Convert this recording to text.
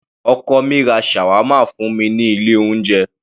Ọkọ mi ra Shawarma fún mi ní ilé oúnjẹ.